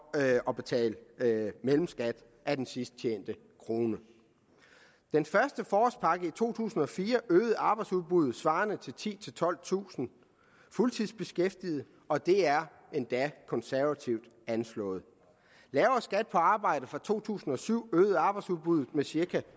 at betale mellemskat af den sidst tjente krone den første forårspakke i to tusind og fire øgede arbejdsudbuddet svarende til titusind tolvtusind fuldtidsbeskæftigede og det er endda konservativt anslået lavere skat på arbejde fra to tusind og syv øgede arbejdsudbuddet med syv